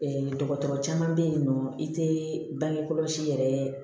dɔgɔtɔrɔ caman bɛ yen nɔ i tɛ bange kɔlɔsi yɛrɛ